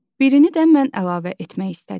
Birini də mən əlavə etmək istədim.